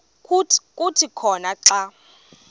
kuthi khona xa